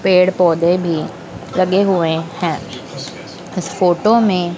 पेड़ पौधे भी लगे हुए हैं इस फोटो में--